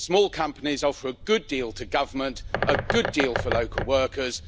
Small companies offer a good deal to government, a good deal for local workers.